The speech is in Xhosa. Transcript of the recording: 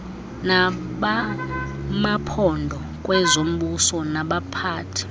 nabamaphondo kwezombuso nabaphathi